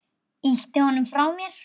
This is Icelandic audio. Ýti honum frá mér.